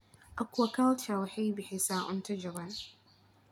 Aquaculture waxay bixisaa cunto jaban.